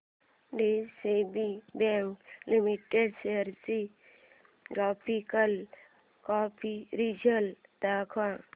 DCB bank limited shares चे graphical comparison दाखव